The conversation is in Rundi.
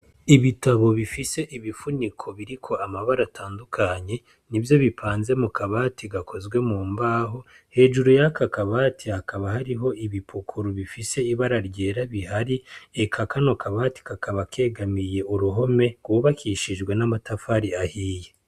Ibitabo bifise ibifuniko biriko amabara atandukanye nivyo bipanze mu kabati gakozwe mu mbaho, hejuru yako kabati hakaba hariho ibipukuru bifise ibara ryera bihari, eka kano kabati kakaba kegamiye uruhome rwubakishijwe n'amatafari ahiye.